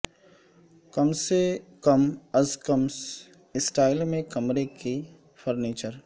کم سے کم از کم سٹائل میں کمرے کے فرنیچر